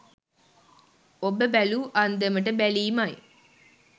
ඔබ බැලූ අන්දමට බැලීමයි.